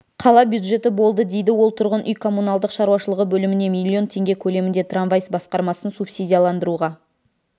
қала бюджеті болды дейді ол тұрғын үй-коммуналдық шаруашылығы бөліміне миллион теңге көлемінде трамвай басқармасын субсидияландыруға